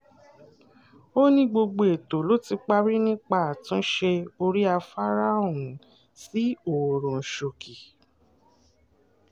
ó ní gbogbo ètò ló ti parí nípa àtúnṣe orí afárá ọ̀hún sí ọwọ́runṣókí